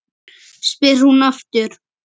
spyr hún aftur.